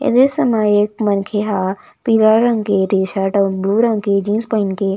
इस दृश्य में एक मनके हा पीला रंग के टी शर्ट अउ ब्लू रंग की जीन्स पहन के --